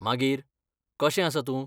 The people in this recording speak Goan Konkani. मागीर, कशें आसा तूं?